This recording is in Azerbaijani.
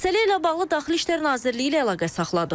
Məsələ ilə bağlı Daxili İşlər Nazirliyi ilə əlaqə saxladıq.